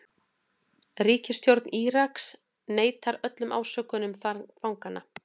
Ríkisstjórn Íraks neitar öllum ásökunum fanganna